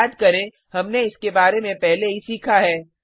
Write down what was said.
याद करें हमने इसके बारे में पहले ही सीखा है